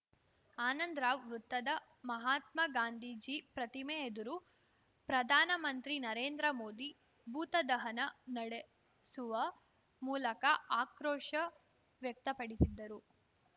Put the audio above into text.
ಆನಂದರಾವ್‌ ವೃತ್ತದ ಮಹಾತ್ಮ ಗಾಂಧೀಜಿ ಪ್ರತಿಮೆ ಎದುರು ಪ್ರಧಾನಮಂತ್ರಿ ನರೇಂದ್ರ ಮೋದಿ ಭೂತದಹನ ನಡೆಸುವ ಮೂಲಕ ಆಕ್ರೋಶ ವ್ಯಕ್ತಪಡಿಸಿದ್ದರು